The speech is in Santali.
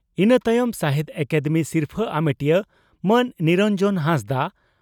ᱤᱱᱟᱹ ᱛᱟᱭᱚᱢ ᱥᱟᱦᱤᱛᱭᱚ ᱟᱠᱟᱫᱮᱢᱤ ᱥᱤᱨᱯᱷᱟᱹ ᱟᱢᱮᱴᱤᱭᱟᱹ ᱢᱟᱱ ᱱᱤᱨᱚᱱᱡᱚᱱ ᱦᱟᱸᱥᱫᱟᱜ